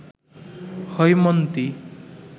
Haimanti